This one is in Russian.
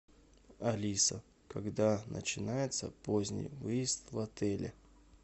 алиса когда начинается поздний выезд в отеле